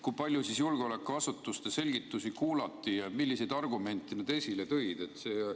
Kui palju julgeolekuasutuste selgitusi kuulati ja milliseid argumente nad esile tõid?